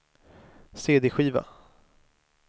cd-skiva